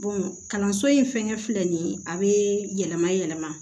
kalanso in fɛngɛ filɛ nin ye a be yɛlɛma yɛlɛma